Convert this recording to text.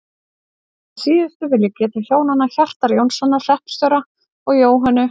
Að síðustu vil ég geta hjónanna Hjartar Jónssonar hreppstjóra og Jóhönnu